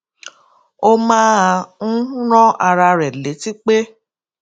ó máa ń rán ara rè létí pé